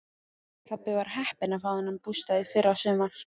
Pabbi var heppinn að fá þennan bústað í fyrrasumar.